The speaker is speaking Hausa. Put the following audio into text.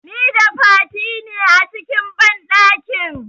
Nida Fati ne a cikin banɗakin.